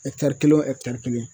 kelen o kelen